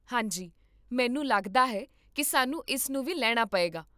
ਹਾਂ ਜੀ, ਮੈਨੂੰ ਲੱਗਦਾ ਹੈ ਕਿ ਸਾਨੂੰ ਇਸ ਨੂੰ ਵੀ ਲੈਣਾ ਪਏਗਾ